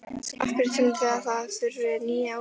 Af hverju teljið þið að það þurfi ný úrræði?